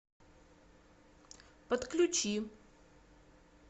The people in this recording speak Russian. подключи